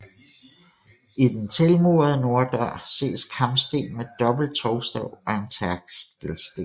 I den tilmurede norddør ses karmsten med dobbelt tovstav og en tærskelsten